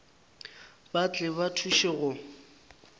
ba tle ba thuše go